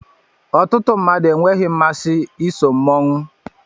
Ọtụtụ mmadụ enweghị mmasị iso mmọnwụ